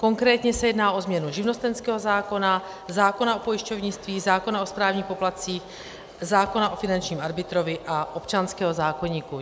Konkrétně se jedná o změnu živnostenského zákona, zákona o pojišťovnictví, zákona o správních poplatcích, zákona o finančním arbitrovi a občanského zákoníku.